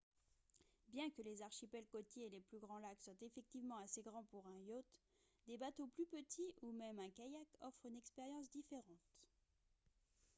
bien que les archipels côtiers et les plus grands lacs soient effectivement assez grands pour un yacht des bateaux plus petits ou même un kayak offrent une expérience différente